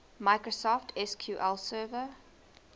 microsoft sql server